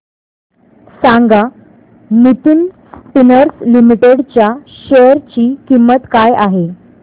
सांगा Nitin Spinners limited च्या share ची किंमत काय आहे